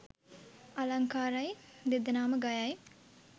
අලංකාරයි! දෙදෙනාම ගයයි